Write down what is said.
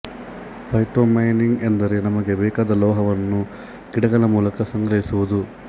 phytomining ಎಂದರೇ ನಮಗೆ ಬೇಕಾದ ಲೋಹವನ್ನು ಗಿಡಗಳ ಮೂಲಕ ಸಂಗ್ರಹಿಸುವುದು